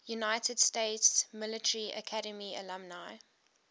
united states military academy alumni